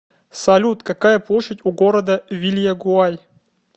салют какая площадь у города вильягуай